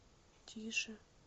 тише